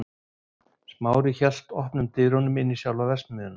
Smári hélt opnum dyrunum inn í sjálfa verksmiðjuna.